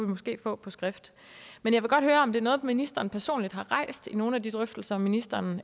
måske få på skrift men jeg vil godt høre om det er noget ministeren personligt har rejst i nogle af de drøftelser ministeren